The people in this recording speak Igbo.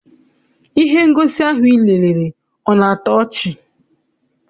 Ihe ngosi ahụ I lerere ọ na-atọ ọchị?